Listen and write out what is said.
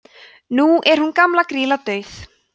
nú er hún gamla grýla dauð